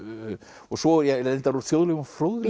og svo reyndar úr þjóðlegum fróðleik